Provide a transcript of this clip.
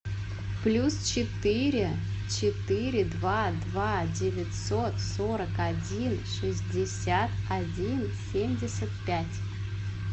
плюс четыре четыре два два девятьсот сорок один шестьдесят один семьдесят пять